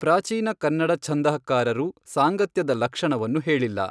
ಪ್ರಾಚೀನ ಕನ್ನಡ ಛಂದಃಕಾರರು ಸಾಂಗತ್ಯದ ಲಕ್ಷಣವನ್ನು ಹೇಳಿಲ್ಲ.